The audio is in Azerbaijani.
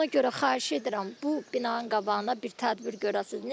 Ona görə xahiş edirəm bu binanın qabağına bir tədbir görəsiz.